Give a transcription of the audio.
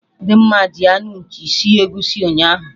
Dimma ji anụ nchi sie egusi ụnyaahụ